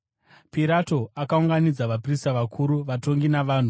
Pirato akaunganidza vaprista vakuru, vatongi, navanhu,